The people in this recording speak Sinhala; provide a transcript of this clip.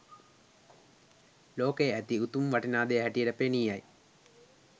ලෝකයේ ඇති උතුම් වටිනා දෙය හැටියට පෙනී යයි.